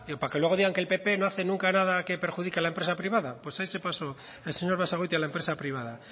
para que luego digan que el pp no hace nunca nada que perjudique a la empresa privada pues ahí se pasó el señor basagoiti a la empresa privada